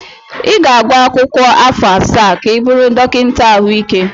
Ị ga-agụ akwụkwọ afọ asaa ka ị bụrụ dọkịta ahụike.